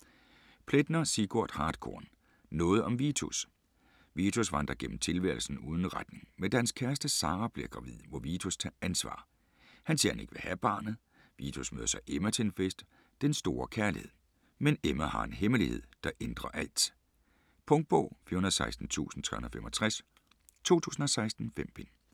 Plaetner, Sigurd Hartkorn: Noget om Vitus Vitus vandrer gennem tilværelsen uden retning. Men da hans kæreste Sara bliver gravid, må Vitus tage ansvar - han siger han ikke vil have barnet. Vitus møder så Emma, til en fest. Den store kærlighed. Men Emma har en hemmelighed, der ændrer alt. Punktbog 416365 2016. 5 bind.